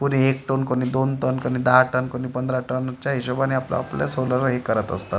कुणी एक टन कुणी दोन टन कुणी दहा टन कुणी पंधरा टनच्या हिशोबाने आपलं-आपलं सोलरला हे करत असतात.